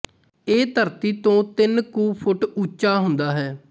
ਇਹ ਧਰਤੀ ਤੋਂ ਤਿੰਨ ਕੁ ਫੁੱਟ ਉੱਚਾ ਹੁੰਦਾ ਹੈ